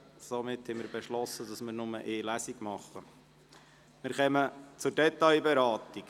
Ist die Durchführung von nur einer Lesung bestritten?